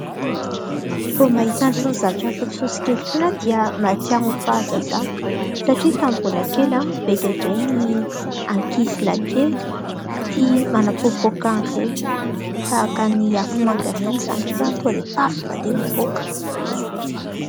Vao mahita itony zavatra fotsifotsy kely itony aho dia mahatsiaro ny fahazazako satria tamin'ny mbola kely, be dia be ny ankizilahikely tia manapoapoaka an'ireny tahaka ny afomanga ireny izany ny feony, tonga dia Paff ! tonga dia mipoaka.